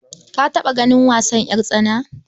Ka taɓa ganin wasan ƴartsana